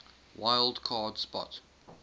wild card spot